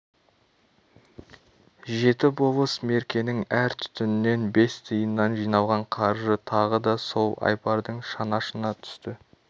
жеті болыс меркенің әр түтінінен бес тиыннан жиналған қаржы тағы да сол айбардың шанашына түсті